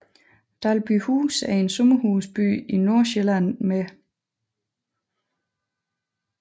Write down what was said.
Dalby Huse er en sommerhusby i Nordsjælland med